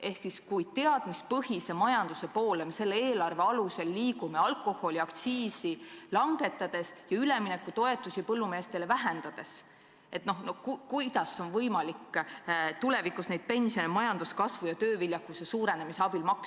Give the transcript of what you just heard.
Ehk siis: kui me selle eelarve alusel liigume teadmispõhise majanduse poole alkoholiaktsiisi langetades ja üleminekutoetusi põllumeestele vähendades, siis kuidas on võimalik tulevikus maksta pensioni tänu majanduskasvu ja tööviljakuse suurenemisele?